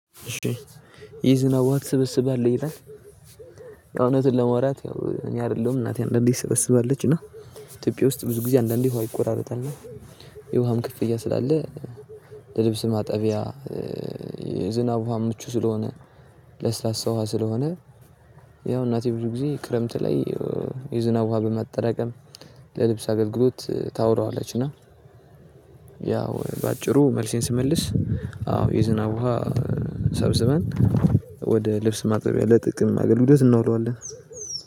ይህ ዝናብ ውሃ ትሰበስባለህ ይላል? እውነቱን ለመውራት ያው እኔ አይደለሁም እናቴ አንዳንዴ ትሰበስባለች እና ኢትዮጵያ ውስጥ ብዙ ጊዜ አንዳንዴ ውሃ ይቆራረጣል። የውሃም ክፍያ ስላለ። ለልብስ ማጠቢያ። የዝናብ ውሃ ምቹ ስለሆነ። ለስላሳ ውሃ ስለሆነ። ያው እናቴ ብዙ ጊዜ ክረምት ላይ የዝናብ ውሃ በማጠራቀም ለልብስ አገልግሎት ታውለዋለች። እና ያው በአጭሩ መልሴን ስመልስ አዎ የዝናብ ውሃ ሰብስበን ወደ ልብስ ማጠቢያ ለጥቅም አገልግሎት እናውለዋለን።